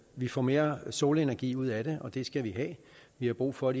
vi får mere solenergi ud af det og det skal vi have vi har brug for